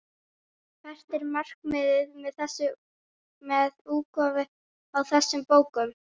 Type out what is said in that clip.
Hvert er markmiðið með útgáfu á þessum bókum?